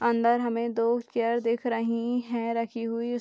अंदर हमे दो चेयर दिख रही है रखी हुई।